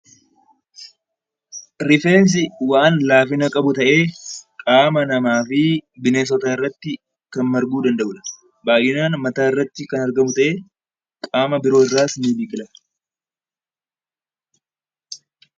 Rifeensi waan laafina qabu ta'ee, qaama namaa fi bineensotaa irratti kan marguu danda'udha. Baay'inaan mataa irratti kan argamu ta'ee qaama biroo irraas ni biqila.